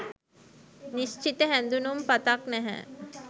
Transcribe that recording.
නිස්චිත "හැඳුනුම් පතක්" නැහැ.